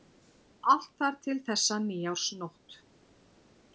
Allt þar til þessa nýársnótt.